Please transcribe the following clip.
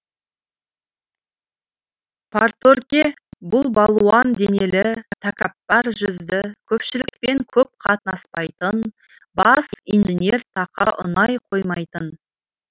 парторгке бұл балуан денелі тәкаппар жүзді көпшілікпен көп қатынаспайтын бас инженер тақа ұнай қоймайтын